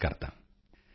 ਬਹੁਤ ਚੰਗਾ ਬਹੁਤ ਚੰਗਾ